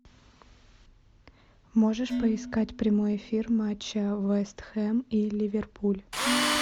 можешь поискать прямой эфир матча вест хэм и ливерпуль